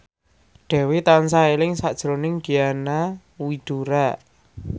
Dewi tansah eling sakjroning Diana Widoera